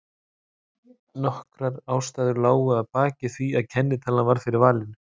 Nokkrar ástæður lágu að baki því að kennitalan varð fyrir valinu.